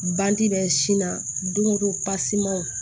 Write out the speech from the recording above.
Bandi bɛ sin na don go don pasemanw